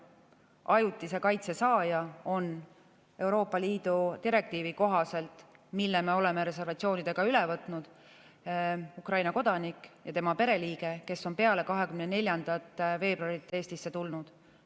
Ajutise kaitse saaja on Euroopa Liidu direktiivi kohaselt, mille me oleme reservatsioonidega üle võtnud, Ukraina kodanik ja tema pereliige, kes on peale 24. veebruari Eestisse tulnud.